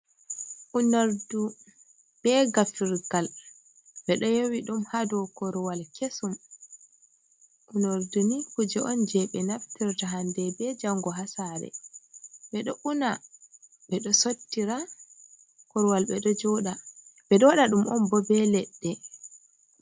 Unordu be gafirgal be do yowi dum hado korwal kesum, unordu ni kuje on je be naftirta hande be jango hasare be do una bedo sottira korwal be do joda be do wada dum on bo be ledde.